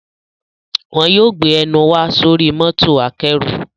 Wọn yóò gbé ẹnù wa sóri mọ́tò akẹ́rù